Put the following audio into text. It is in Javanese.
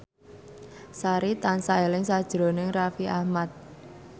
Sari tansah eling sakjroning Raffi Ahmad